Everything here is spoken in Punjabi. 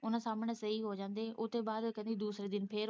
ਉਹਨਾਂ ਸਾਹਮਣੇ ਸਹੀ ਹੋ ਜਾਂਦੇ ਉੱਤੋਂ ਬਾਅਦ ਉਹ ਕਹਿੰਦੀ ਦੂਸਰੇ ਦਿਨ ਫੇਰ।